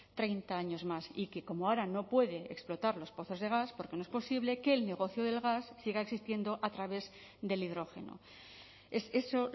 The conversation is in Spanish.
treinta años más y que como ahora no puede explotar los pozos de gas porque no es posible que el negocio del gas siga existiendo a través del hidrógeno es eso